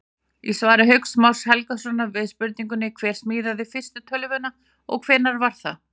Í svari Hauks Más Helgasonar við spurningunni Hver smíðaði fyrstu tölvuna og hvenær var það?